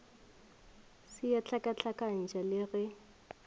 se a hlakahlakantšha le ge